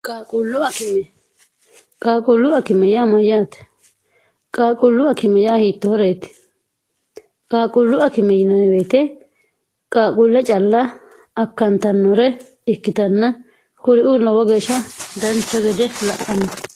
qqaaqullu akime yaa mayyaate qaaqullu akime yaa hiittohoreeti qaaqullu akime yinaeweete qaaquulla calla akkantannore ikkitanna kuriu lowo geeshsha dancho gede la'anno